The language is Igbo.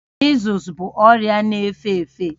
Mịzụs bụ ọrịa na-efe efe